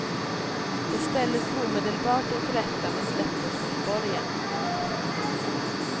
De ställdes omedelbart inför rätta men släpptes mot borgen.